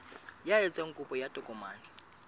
ya etsang kopo ya tokomane